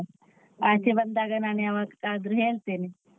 ಸಿಗುವ ಆಚೆ ಬಂದಾಗ ನಾನು ಯಾವತ್ತಾದ್ರು ಹೇಳ್ತೇನೆ.